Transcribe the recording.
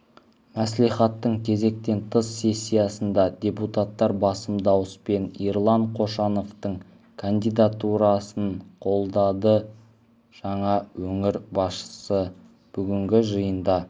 мәслихаттың кезектен тыс сессиясында депутаттар басым дауыспен ерлан қошановтың кандидатурасын қолдады жаңа өңір басшысы бүгінгі жиында